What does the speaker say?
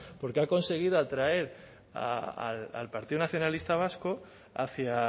porque ha conseguido atraer al partido nacionalista vasco hacia